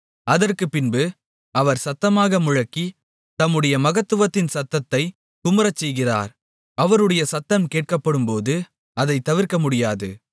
அதற்குப்பின்பு அவர் சத்தமாக முழங்கி தம்முடைய மகத்துவத்தின் சத்தத்தைக் குமுறச்செய்கிறார் அவருடைய சத்தம் கேட்கப்படும்போது அதைத் தவிர்க்கமுடியாது